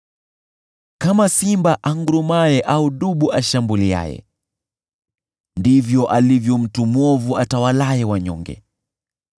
Kama simba angurumaye au dubu ashambuliaye, ndivyo alivyo mtu mwovu atawalaye wanyonge.